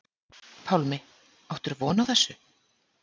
Pálmi: Áttirðu von á þessu?